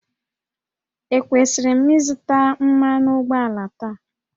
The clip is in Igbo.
Ekwesịrị m ịzụta mmanụ ụgbọala taa?